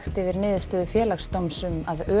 yfir niðurstöðu Félagsdóms um að